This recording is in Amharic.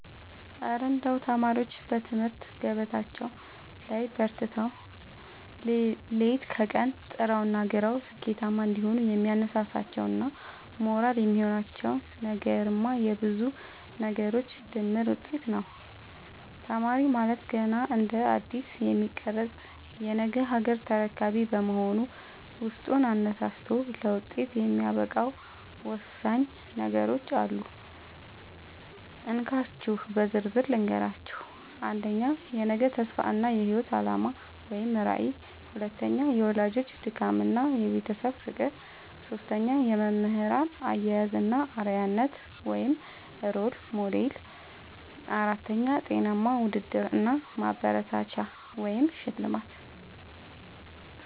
እረ እንደው ተማሪዎች በትምህርት ገበታቸው ላይ በርትተው፣ ሌት ከቀን ጥረውና ግረው ስኬታማ እንዲሆኑ የሚያነሳሳቸውና ሞራል የሚሆናቸው ነገርማ የብዙ ነገሮች ድምር ውጤት ነው! ተማሪ ማለት ገና እንደ አዲስ የሚቀረጽ የነገ ሀገር ተረካቢ በመሆኑ፣ ውስጡን አነሳስቶ ለውጤት የሚያበቃው ወሳኝ ነገሮች አሉ፤ እንካችሁ በዝርዝር ልንገራችሁ - 1. የነገ ተስፋ እና የህይወት አላማ (ራዕይ) 2. የወላጆች ድካምና የቤተሰብ ፍቅር 3. የመምህራን አያያዝ እና አርአያነት (Role Model) 4. ጤናማ ውድድር እና ማበረታቻ (ሽልማት)